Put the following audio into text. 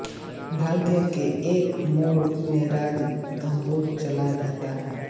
भाग्य के एक मोड़ में राज धनकपुर चला जाता है